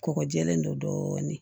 Kɔgɔjilen don dɔɔnin